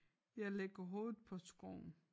Jeg lægger hovedet på skrå